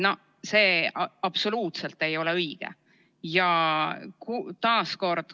No see absoluutselt ei ole õige.